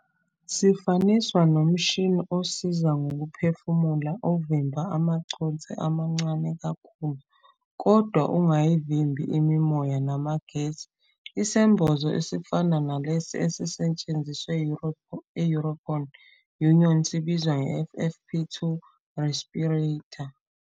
Sifaniswa nomshini osiza ngokuphefumula ovimba amaconsi amancane kakhulu kodwa ungayivimbi imimoya namagesi. Isembozo esifana nalesi esisetshenziswa i- European Union sibizwa nge- FFP2 respirator.